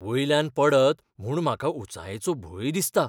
वयल्यान पडत म्हूण म्हाका उंचायेचो भंय दिसता.